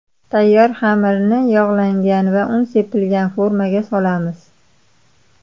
Tayyor xamirni yog‘langan va un sepilgan formaga solamiz.